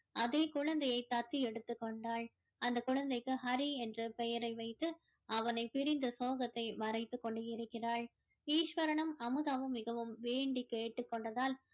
அதே குழந்தையை தத்து எடுத்துக் கொண்டாள் அந்த குழந்தைக்கு ஹரி என்று பெயரை வைத்து அவனைப் பிரிந்த சோகத்தை மறைத்துக் கொண்டு இருக்கிறாள் ஈஸ்வரனும் அமுதாவும் மிகவும் வேண்டி கேட்டுக் கொண்டதால்